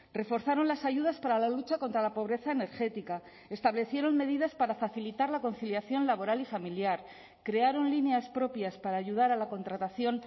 reforzaron las ayudas para la lucha contra la pobreza energética establecieron medidas para facilitar la conciliación laboral y familiar crearon líneas propias para ayudar a la contratación